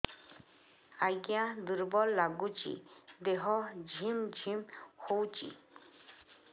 ଆଜ୍ଞା ଦୁର୍ବଳ ଲାଗୁଚି ଦେହ ଝିମଝିମ ହଉଛି